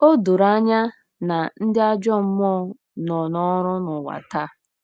O doro anya na ndị ajọ mmụọ nọ n’ọrụ n’ụwa taa.